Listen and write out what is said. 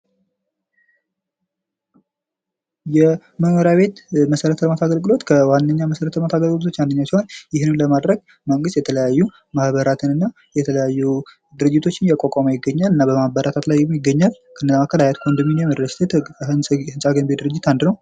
የመኖርያቤት መሰረተልማት አገልግሎት ከዋነኛ መሰረተልማት አገልግሎቶች አንደኛው ሲሆን ይህንንም ለመድረግ መንግስት የተለያዩ ማህበራትንና የተለያዩ ድርጅቶችን እያቋቋመ ይገኛል። እና እያበረታታም ላይ ይገኛል። ከነዛ መካከል ሀያት ኮንዶሚንዬም ሪልስቴት ህንፃ ገንቢ ድርጅት አንዱ ነው።